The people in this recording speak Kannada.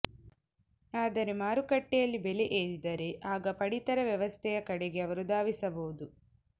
ಆದರೆ ಮಾರುಕಟ್ಟೆಯಲ್ಲಿ ಬೆಲೆ ಏರಿದರೆ ಆಗ ಪಡಿತರ ವ್ಯವಸ್ಥೆಯ ಕಡೆಗೆ ಅವರು ಧಾವಿಸಬಹುದು